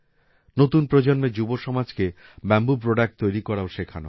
নতুন প্রজন্মের যুবসমাজকে বাম্বু প্রোডাক্ট তৈরি করাও শেখানো হয়